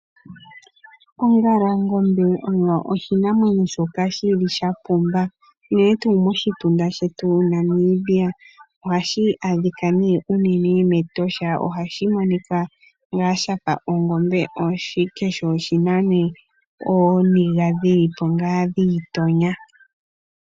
Ongalangombe oyo oshinamwenyo shoka shili shapumba unene tuu moshituna shetu Namibia, ohashi adhikwa tuu unene metosha ohashi monikwa ngaa shafa ongombe ashike sho oshina nee ooniga dhili po ngaa dhiitonya.